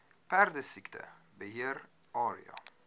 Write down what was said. perdesiekte beheer area